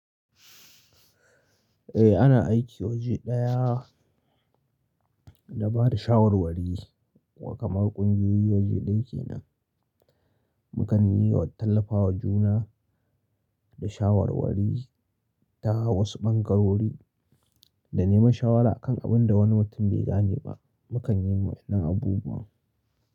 Eh ana aiki waje ɗaya da ba da shawarwari wa kamar ƙungiyoyi waje ɗaya kenan. Mukan yiwa tallafawa juna da shawarwari ta wasu bangarori da neman shawara a kan abin da wani mutum bai gane ba. Mukan yi wayannan abubuwa.